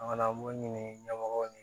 An ka mun ɲini ɲɛmɔgɔw ye